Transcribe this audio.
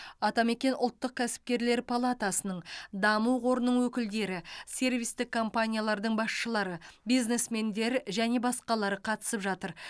атамекен ұлттық кәсіпкерлер палатасының даму қорының өкілдері сервистік компаниялардың басшылары бизнесмендер және басқалары қатысып жатыр